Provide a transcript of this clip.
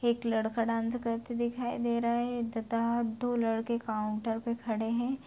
एक लड़का डांस करते दिखाई दे रहा है तथा दो लड़के काउंटर पे खड़े है।